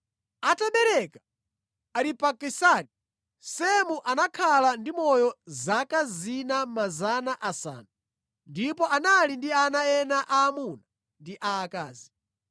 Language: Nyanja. Atabereka Aripakisadi, Semu anakhala ndi moyo zaka 500 ndipo anali ndi ana ena aamuna ndi aakazi.